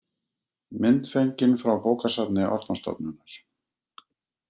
Mynd fengin frá bókasafni Árnastofnunar.